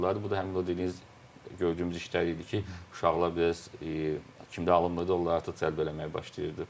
Bu da həmin o dediyiniz gördüyümüz işlər idi ki, uşaqlar biraz kimdə alınmırdı, onları artıq cəlb eləməyə başlayırdı.